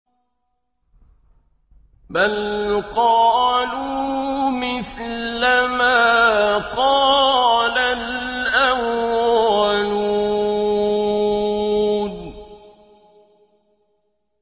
بَلْ قَالُوا مِثْلَ مَا قَالَ الْأَوَّلُونَ